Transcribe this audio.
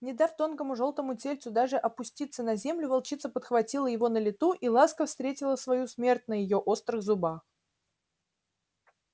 не дав тонкому жёлтому тельцу даже опуститься на землю волчица подхватила его на лету и ласка встретила свою смерть на её острых зубах